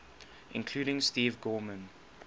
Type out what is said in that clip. including steve gorman